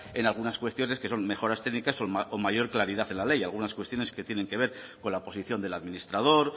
en algunas cuestiones que son mejoras técnicas o mayor claridad en la ley algunas cuestiones que tienen que ver con la posición del administrador